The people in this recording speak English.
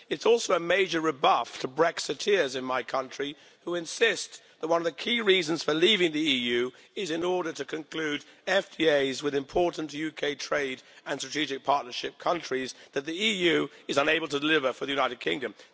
It's also a major rebuff to Brexiteers in my country, who insist that one of the key reasons for leaving the EU is in order to conclude FTAs with important UK trade and strategic partnership countries that the EU is unable to deliver for the United Kingdom.